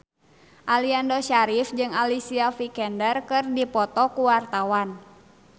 Aliando Syarif jeung Alicia Vikander keur dipoto ku wartawan